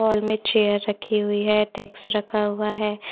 Hall मे chair रखी हुई है टैक्स रखा हुआ है ।